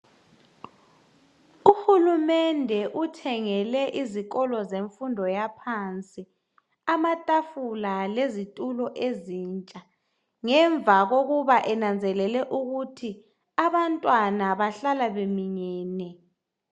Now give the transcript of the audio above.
Uhulumende uthengele izikolo zemfundo yaphansi amatafula lezitulo ezintsha ngemva kokuba enanzelele ukuthi abantwana bahlala beminyene.